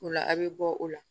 O la a' bɛ bɔ o la